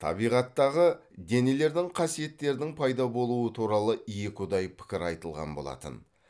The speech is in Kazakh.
табиғаттағы денелердің қасиеттерінің пайда болуы туралы екіұдай пікір айтылған болатын